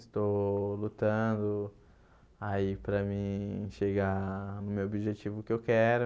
Estou lutando aí para mim chegar no meu objetivo que eu quero.